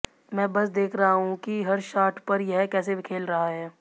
मैं बस देख रहा हूं कि हर शाट पर यह कैसे खेल रहा है